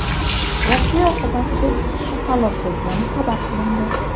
Voqea oqibatida ikki kishi halok bo‘lgani xabar qilindi.